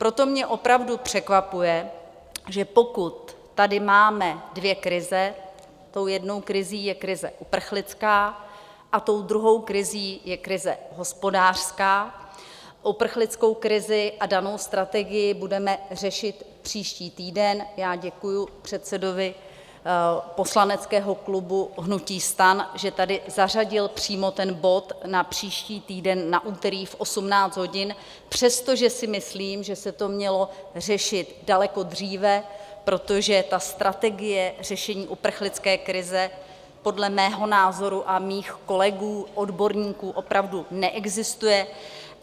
Proto mě opravdu překvapuje, že pokud tady máme dvě krize, tou jednou krizí je krize uprchlická a tou druhou krizí je krize hospodářská, uprchlickou krizi a danou strategii budeme řešit příští týden, já děkuji předsedovi poslaneckého klubu hnutí STAN, že sem zařadil přímo ten bod na příští týden na úterý v 18 hodin, přestože si myslím, že se to mělo řešit daleko dříve, protože ta strategie řešení uprchlické krize podle mého názoru a mých kolegů odborníků opravdu neexistuje.